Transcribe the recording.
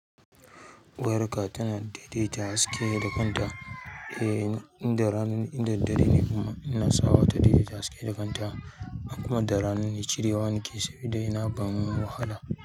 Wayarka tana daidaita haske da kanta, eh, inda rana in da dare ne kuma inasa mata daidaita haske da kanta, in kuma da rana ne cirewa nake sabida yana ban wahala.